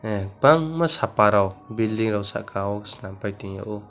ahh bangma sapa rok building rok saka o snam pai tiok.